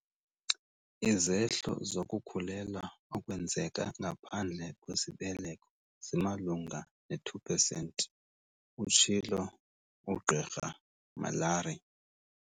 "Izehlo zokukhulelwa okwenzeka ngaphandle kwesibeleko zimalunga ne- pesenti," utshilo uGqr Malari.